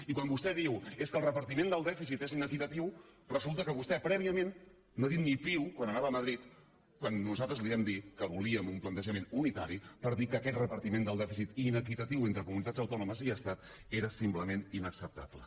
i quan vostè diu és que el repartiment del dèficit és inequitatiu resulta que vostè prèviament no ha dit ni piu quan anava a madrid quan nosaltres li vam dir que volíem un plantejament unitari per dir que aquest repartiment del dèficit inequitatiu entre comunitats autònomes i estat era simplement inacceptable